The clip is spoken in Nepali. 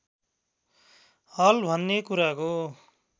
हल भन्ने कुराको